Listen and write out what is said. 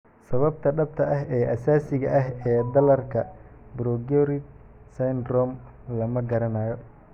Sababta dhabta ah ee asaasiga ah ee dhallaanka progeroid syndrome lama garanayo.